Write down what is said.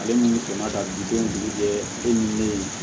Ale minnu ka bi denw jigi kɛ e ni ne ye